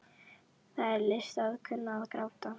Það er list að kunna að gráta.